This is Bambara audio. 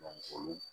olu